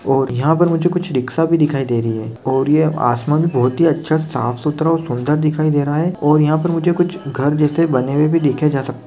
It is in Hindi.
और यहाँ पर मुझे कुछ रिक्सा भी दिखाई दे रही है और ये आसमान बहुत ही अच्छा साफ सुथरा और सूंदर दिखाई दे रहा है और यहाँ मुझे कुछ घर जैसे बने हुए भी देखे जा सकते।